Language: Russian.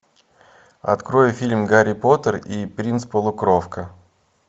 открой фильм гарри поттер и принц полукровка